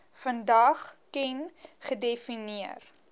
vandag ken gedefinieer